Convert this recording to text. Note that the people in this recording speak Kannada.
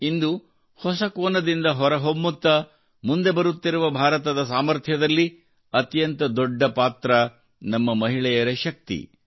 ಇಂದು ಹೊಸ ಕೋನದಿಂದ ಹೊರಹೊಮ್ಮುತ್ತಾ ಮುಂದೆ ಬರುತ್ತಿರುವ ಭಾರತದ ಸಾಮರ್ಥ್ಯದಲ್ಲಿ ಅತ್ಯಂತ ದೊಡ್ಡ ಪಾತ್ರ ನಮ್ಮ ಮಹಿಳೆಯರ ಶಕ್ತಿಯಾಗಿದೆ